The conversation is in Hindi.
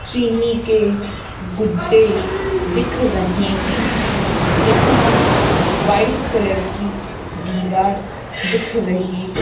चीनी के गुड्डे दिख रहे हैं यहां वाइट कलर की दीवार दिख रही है।